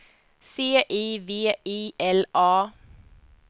C I V I L A